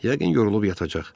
Yəqin yorulub yatacaq.